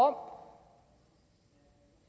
om